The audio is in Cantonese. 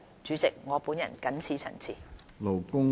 主席，我謹此陳辭。